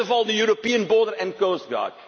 First of all, the European Border and Coast Guard.